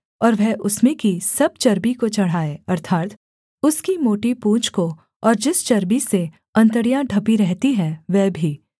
और वह उसमें की सब चर्बी को चढ़ाए अर्थात् उसकी मोटी पूँछ को और जिस चर्बी से अंतड़ियाँ ढपी रहती हैं वह भी